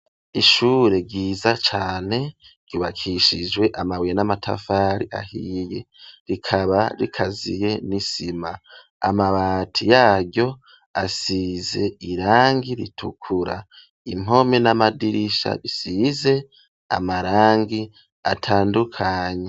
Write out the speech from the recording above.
Ishure ryiza cane ryubakishijwe amabuye n'amatafari ahiye rikaba rikaziye n'isima amabati yaryo asize irangi ritukura, impome n'amadirisha isize amarangi atandukanye.